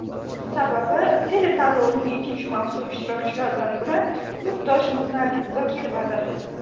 Sababi, teletanlovning ikkinchi mavsum ishtirokchilaridan biri yurtdoshimiz Nargiz Zokirovadir.